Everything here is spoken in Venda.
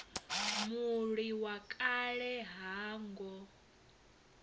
mulwi wa kale ha ngo